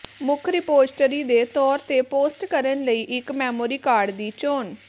ਮੁੱਖ ਰਿਪੋਜ਼ਟਰੀ ਦੇ ਤੌਰ ਤੇ ਪੋਸਟ ਕਰਨ ਲਈ ਇੱਕ ਮੈਮੋਰੀ ਕਾਰਡ ਦੀ ਚੋਣ